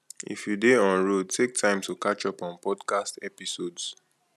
if you dey on road take time to catch up on podcast episodes